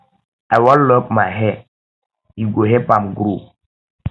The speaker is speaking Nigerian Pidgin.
i wan lock my hair e um go help am grow